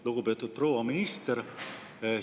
Lugupeetud proua minister!